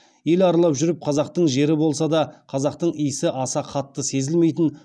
ел аралап жүріп қазақтың жері болса да қазақтың исі аса қатты сезілмейтін